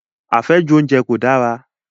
Àfẹ́jù oúnjẹ kò dára.